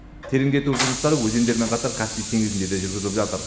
тереңдету жұмыстары өзендермен қатар каспий теңізінде де жүргізіліп жатыр